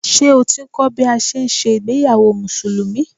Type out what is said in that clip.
Ṣé o ti ń kọ́ bí a ṣe ń ṣe ìgbéyàwó Musùlùmí?